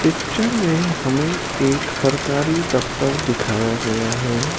Picture में हमें एक सरकारी दफ्तर दिखाया गया है।